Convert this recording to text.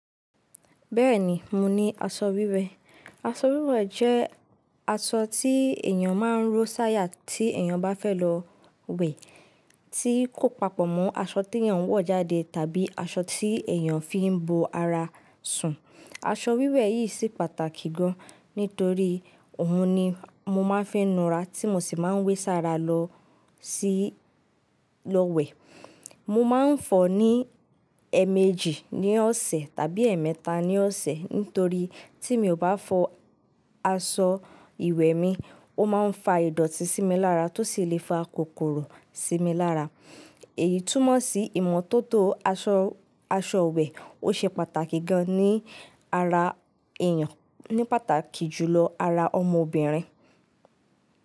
Bẹ́ẹ̀ni, mo ní aṣọ wíwẹ̀. Aṣọ wíwẹ̀ jẹ́ aṣọ tí èèyàn máa ń ró sáyà tí èèyàn bá fẹ́ lọ wẹ̀, tí kò papọ̀ mọ́ aṣọ tí èèyàn ń wọ̀ jáde tàbí aṣọ tí èèyàn fi ń bo ara sùn. Aṣọ wíwẹ̀ yìí sì pàtàkì gan, nítorí òun ni mo má ń fi nu ara tí mo sì ma ń wé sára lọ sí lọ wẹ̀. Mo má ń fọ̀ ọ́ ní ẹẹ̀mẹjì ní ọ̀sẹ̀ tàbí ẹẹ̀mẹta ní ọ̀sẹ̀, nítorí tí mi ò bá fọ aṣọ ìwẹ̀ mi, ó má ń fa ìdọ̀tí sí mi lára tó sì lè fa kòkòrò sí mi lára. Èyí túmọ̀ sí ìmọ́tótó aṣọ, aṣọ iwẹ̀ ó ṣe pàtàkì gan ní ara èèyàn, ní pàtàkì jùlọ ara ọmọbìnrin.